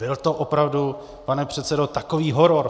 Byl to opravdu, pane předsedo, takový horor?